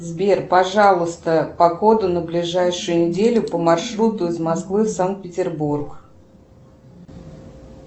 сбер пожалуйста погоду на ближайшую неделю по маршруту из москвы в санкт петербург